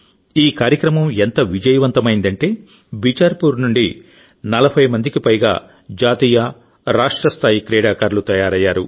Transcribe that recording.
ఈ కార్యక్రమం ఎంత విజయవంతమైందంటే బిచార్పూర్ నుండి 40 మందికి పైగా జాతీయ రాష్ట్ర స్థాయి క్రీడాకారులు తయారయ్యారు